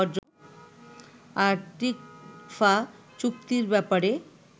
আর TICFA চুক্তির ব্যাপারে